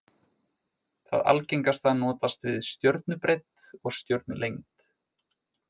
Það algengasta notast við stjörnubreidd og stjörnulengd.